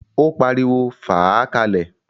Ó pariwo, "fàá ka lẹ̀!"